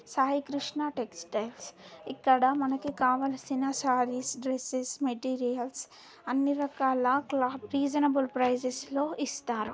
Sai Krishna textiles ఇక్కడ మనకు కావాల్సిన సారీస్ డ్రెస్సెస్ మెటీరియల్స్ అన్ని రకాల క్లోత్ రిసనబెల్ ప్రైస్ లో ఇస్తారు